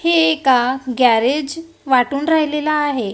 हे एका गॅरेज वाटून राहिलेलं आहे.